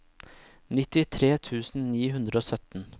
nittitre tusen ni hundre og sytten